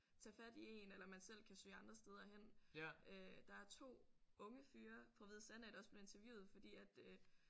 Tage fat i én eller man selv kan søge andre steder hen øh. Der er 2 unge fyre fra Hvide Sande af der også blev interviewet fordi at øh